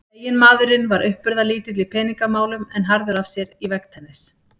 Eiginmaðurinn var uppburðalítill í peningamálum en harður af sér í veggtennis.